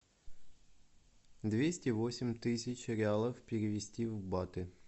двести восемь тысяч реалов перевести в баты